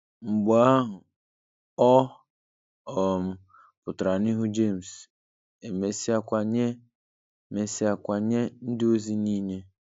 Mgbe ahụ, ọ um pụtara n'ihu Jemes, e mesịakwa nye mesịakwa nye ndịozi nile.